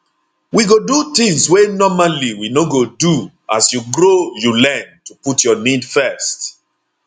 we go do tins wey normally we no go do as you grow you learn to put your need first